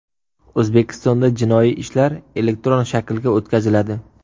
O‘zbekistonda jinoiy ishlar elektron shaklga o‘tkaziladi.